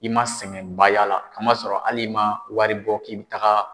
I ma sɛgɛnba y'a la a ma sɔrɔ hali ma wari bɔ k'i bɛ taga.